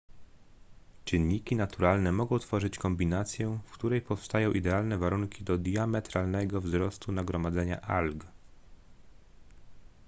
czynniki naturalne mogą tworzyć kombinację w której powstają idealne warunki do diametralnego wzrostu nagromadzenia alg